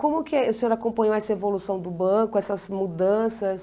Como que é, o senhor acompanhou essa evolução do banco, essas mudanças?